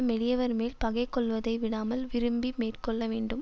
மெலியவர் மேல் பகைக் கொள்வதை விடாமல் விரும்பி மேற்கொள்ள வேண்டும்